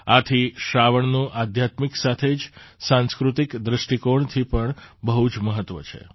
આથી શ્રાવણનું આધ્યાત્મિક સાથે જ સાંસ્કૃતિક દૃષ્ટિકોણથી પણ બહુ જ મહત્ત્વ છે